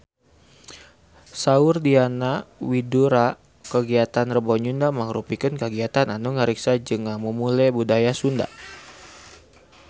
Saur Diana Widoera kagiatan Rebo Nyunda mangrupikeun kagiatan anu ngariksa jeung ngamumule budaya Sunda